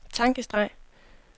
tankestreg